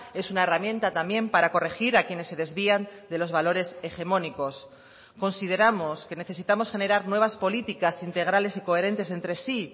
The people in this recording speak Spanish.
es una herramienta también para corregir a quienes se desvían de los valores hegemónicos consideramos que necesitamos generar nuevas políticas integrales y coherentes entre sí